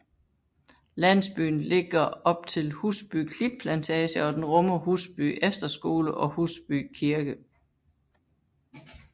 Landsbyen ligger op til Husby Klitplantage og den rummer Husby Efterskole og Husby Kirke